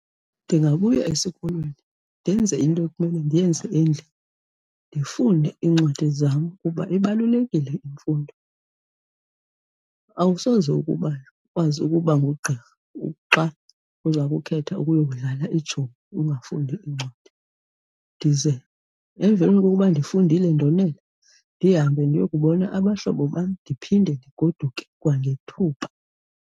Ndingabuya esikolweni ndenze into ekumele ndiyenze endlini, ndifunde iincwadi zam kuba ibalulekile imfundo. Awusoze ukuba ukwazi ukuba ngugqirha xa uza kukhetha ukuyodlala iitshomi ungafundi iincwadi. Ndize emveni kokuba ndifundile ndonela ndihambe ndiyokubona abahlobo bam, ndiphinde ndigoduke kwangethuba.